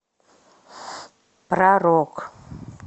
про рок